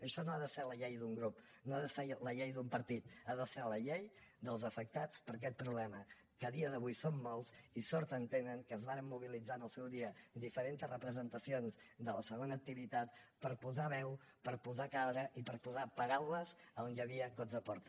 això no ha de ser la llei d’un grup no ha de ser la llei d’un partit ha de ser la llei dels afectats per aquest problema que a dia d’avui són molts i sort en tenen que es varen mobilitzar en el seu dia diferentes representacions de la segona activitat per posar veu per posar cara i per posar paraules a on hi havia cops de porta